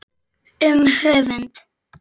Um höfund